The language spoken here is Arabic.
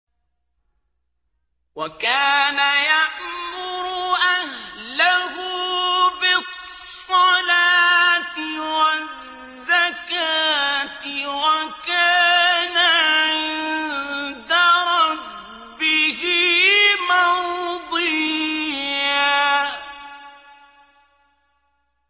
وَكَانَ يَأْمُرُ أَهْلَهُ بِالصَّلَاةِ وَالزَّكَاةِ وَكَانَ عِندَ رَبِّهِ مَرْضِيًّا